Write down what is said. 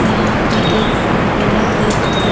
यहां पे एक फोर व्हीलर भी खड़े--